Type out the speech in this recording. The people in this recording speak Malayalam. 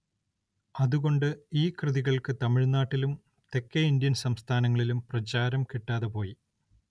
അതുകൊണ്ട് ഈ കൃതികൾക്ക് തമിഴ്‌നാട്ടിലും തെക്കേ ഇന്ത്യൻ സംസ്ഥാനങ്ങളിലും പ്രചാരം കിട്ടാതെപോയി.